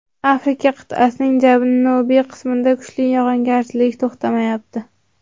Afrika qit’asining janubiy qismida kuchli yog‘ingarchilik to‘xtamayapti.